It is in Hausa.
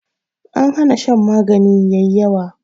An hana shan magani yayi yawa